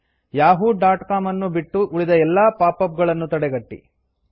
Yahoo dot com ಅನ್ನು ಬಿಟ್ಟು ಉಳಿದ ಎಲ್ಲಾ ಪಾಪ್ಅಪ್ ಗಳನ್ನು ತಡೆಗಟ್ಟಿ